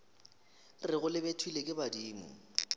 rego le betlilwe ke badimo